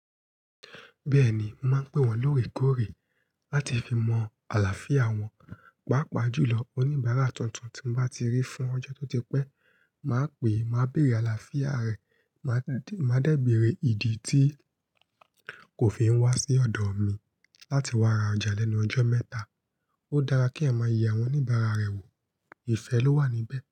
Bẹ́ẹ̀ni, mo máa ń pè wọ́n lóòrèkóòrè láti fi mọ àlàáfíà wọn. Pàápàá jùlọ oníbàárà tuntun tí mo bá ti rí fún ọjọ́ tó ti pẹ́, màá pè é, màá bèrè àlàáfíà rẹ̀, màá dẹ́ bèrè ìdí tí kò fi ń wá sí ọ̀dọ̀ mi láti wá ra ọjà lẹ́nu ọjọ́ mẹ́ta. Ó dára kí èèyàn máa yẹ àwọn oníbàárà rẹ wò. Ifẹ́ ló wà níbẹ̀